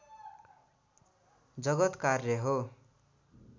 जगत् कार्य हो